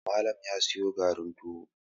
Malam ya siyo garin tuwo